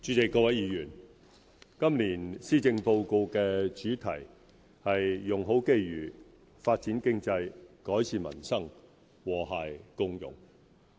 主席、各位議員，今年施政報告的主題是"用好機遇發展經濟改善民生和諧共融"。